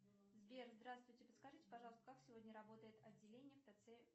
сбер здравствуйте подскажите пожалуйста как сегодня работает отделение в тц